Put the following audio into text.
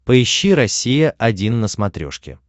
поищи россия один на смотрешке